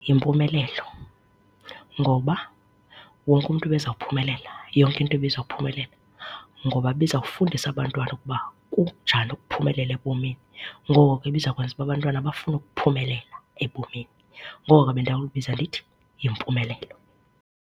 YiMpumelelo, ngoba wonke umntu ebezawuphumela, yonke into ibizawuphumelela ngoba ibizawufundisa abantwana ukuba kunjani ukuphumelela ebomini. Ngoko ke ibiza kwenza uba abantwana bafune ukuphumelela ebomini. Ngoko ke bendawulibiza ndithi yiMpumelelo.